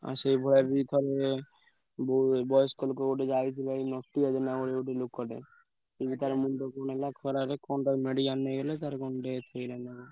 ଆଉ ସେ ଭୟରେ ବି ଥରେ ବୟସ୍କ ଲୋକ ଗୋଟେ ଯାଇଥିଲା ଏଇ ନଟିଆ ଜେନା ବୋଲି ଗୋଟେ ଲୋକଟେ ମୁଣ୍ଡ କଣ ହେଲା ଖରାରେ କଣ ତାକୁ medical ନେଇ ଗଲେ ତାର କଣ death ହେଇଗଲା ନା କଣ।